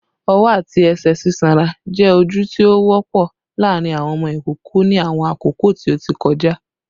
Ọwọ ati ẹsẹ sisonra jẹ oju ti o wọpọ laarin awọn ọmọ ikoko ni awọn akoko ti o ti kọja